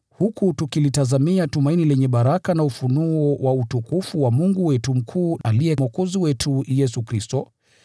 huku tukilitazamia tumaini lenye baraka na ufunuo wa utukufu wa Mungu wetu Mkuu, aliye Mwokozi wetu Yesu Kristo.